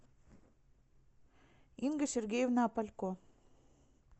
инга сергеевна опалько